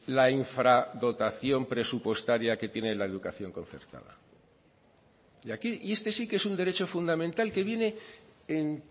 la infradotación presupuestaria que tiene la educación concertada y aquí y este sí que es un derecho fundamental que viene en